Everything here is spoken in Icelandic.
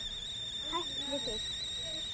Hætt við þig.